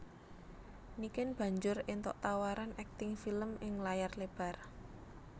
Niken banjur éntuk tawaran akting film ing layar lebar